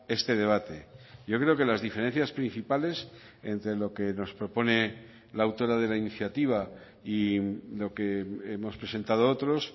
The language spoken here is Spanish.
este debate yo creo que las diferencias principales entre lo que nos propone la autora de la iniciativa y lo que hemos presentado otros